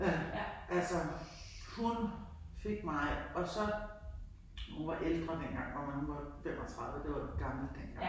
Ja. Altså hun fik mig og så hun var ældre dengang. Ja men hun var 35 det var gammelt dengang ik